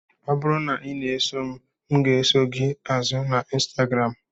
Ọ bụrụ na ị na-eso m, m ga-eso gị azụ na Instagram.